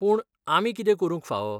पूण आमी कितें करूंक फाव ?